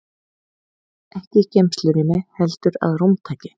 Ekki í geymslurými heldur að rúmtaki.